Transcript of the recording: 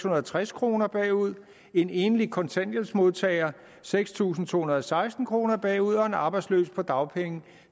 og treds kroner bagud en enlig kontanthjælpsmodtager seks tusind to hundrede og seksten kroner bagud og en arbejdsløs på dagpenge